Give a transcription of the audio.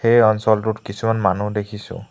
এই অঞ্চলটোত কিছুমান মানুহ দেখিছোঁ।